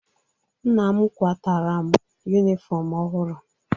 Nna m kwataara m yunifọmụ ọhụrụ.